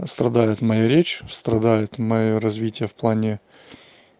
страдает моя речь страдает моё развитие в плане